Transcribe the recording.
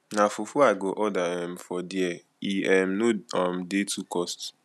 na fufu i go order um for there e um no um dey too cost